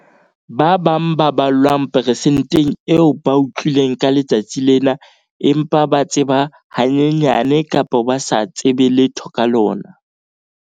Ba bang ba ballwang persenteng eo ba utlwile ka letsatsi lena empa ba tseba hanyenyane kapa ha ba tsebe letho ka lona.